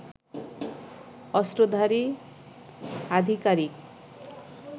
অস্ত্রধারী আধিকারিক